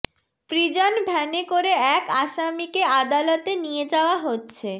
prison ভ্যানে করে এক আসামিকে আদালতে নিয়ে যাওয়া হচ্ছে